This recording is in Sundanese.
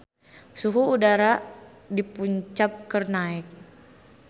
Suhu udara di Punjab keur naek